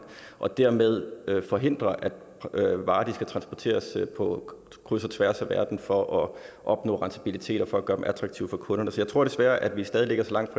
og dermed forhindrer at varer skal transporteres på kryds og tværs af verden for at opnå rentabilitet og for at gøre dem attraktive for kunderne så jeg tror desværre at vi stadig ligger så langt